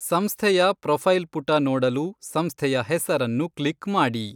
ಸಂಸ್ಥೆಯ ಪ್ರೊಫೈಲ್ ಪುಟ ನೋಡಲು ಸಂಸ್ಥೆಯ ಹೆಸರನ್ನು ಕ್ಲಿಕ್ ಮಾಡಿ.